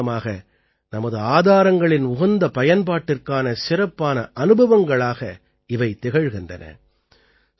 தூய்மை காரணமாக நமது ஆதாரங்களின் உகந்த பயன்பாட்டிற்கான சிறப்பான அனுபவங்களாக இவை திகழ்கின்றன